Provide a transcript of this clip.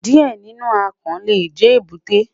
Diẹ ninu akàn le jẹ ebute